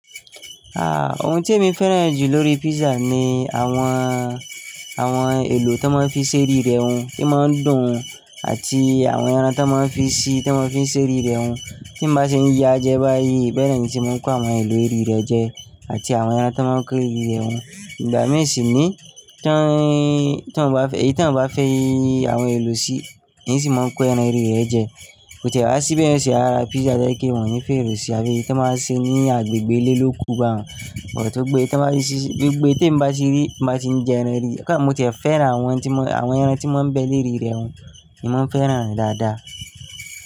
Ah! Ohun tí èmi fẹ́ràn jù lórí pizza ni àwọn, àwọn èlò tí wọ́n máa ń fi ṣẹ́rí rẹ̀ hun, o máa ń dùn-ún àti àwọn ẹran tí wọ́n máa ń fi síi, tí wọ́n fi ń ṣẹ́rí rẹ̀ hun. Tí mo bá ṣe ń ya jẹ báyìí, bẹ́ẹ̀ ni se máa ń kó àwọn èlò rí rẹ̀ jẹ àti àwọn ẹran tí wọ́n máa ń kó rí rẹ̀ hun. Ìgbà mìíràn sì ní tí wọ́n bá fẹ́, èyí tí wọ́n bá fẹ́ yí àwọn èlò sí, ni sì máa ń kó ẹran rí rẹ̀ jẹ. Ó tẹ̀ wá sí bẹ́ẹ̀ ṣe ara pizza jẹ́ kí wọ́n yí fèrè sí abẹ́ yìí tí wọ́n máa ṣe ní agbègbè ilé lókun ba hun. But tó gbe tí wọ́n bá ṣe, gbogbo tí èmi bá ṣe rí, bá ṣe ń jẹ ẹran rí, mo tẹ̀ fẹ́ràn àwọn tí wọ́n, àwọn ẹran tí wọ́n bẹ́ẹ̀ le rí rẹ̀ hun ni mo ń fẹ́ràn rẹ̀ dáadáa.